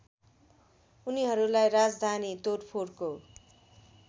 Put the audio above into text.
उनीहरुलाई राजधानी तोडफोडको